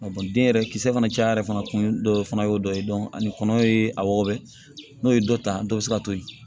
den yɛrɛ kisɛ fana cayara yɛrɛ fana kun dɔ fana y'o dɔ ye ani kɔnɔ ye a wɔgɔbɛ n'o ye dɔ ta dɔ bɛ se ka to yen